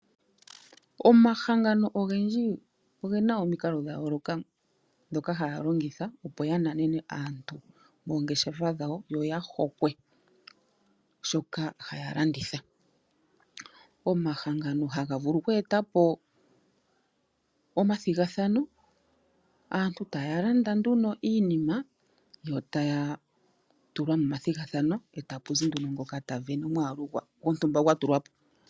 Omahangano ogendji ogena omikalo dha yooloka ndhoka haya longitha opo ya nanene aantu moongeshefa dhawo yoya hokwe shoka haya landitha. Omahangano haga vulu okweetapo omathigathano aantu taya landa nduno iinima yo taya tulwa momathigathano etapu zi nduno ngoka ta vene omwaalu gontumba gwatulwapo.